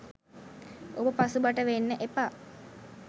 ඔබ පසුබට වෙන්න එපා.